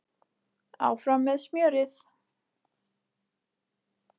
Áfram með smjörið